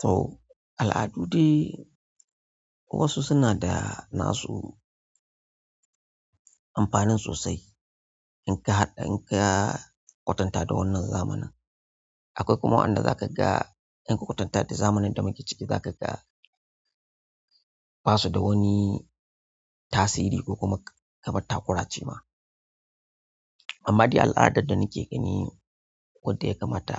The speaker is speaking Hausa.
To al'adu dai wasu suna da na su amfanin sosai in ka haɗa in ka kwatanta da wannan zamanin. Akwai kuma waɗanda za ka ga in ka kwatanta da zamanin da muke ciki za ka ga ba su da wani tasiri ko kuma kamar takura ce ma. Amma dai al'adar da nake gani wadda ya kamata